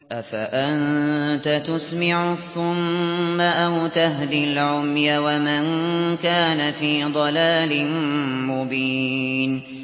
أَفَأَنتَ تُسْمِعُ الصُّمَّ أَوْ تَهْدِي الْعُمْيَ وَمَن كَانَ فِي ضَلَالٍ مُّبِينٍ